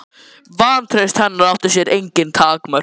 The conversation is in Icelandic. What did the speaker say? Vantraust hennar átti sér engin takmörk.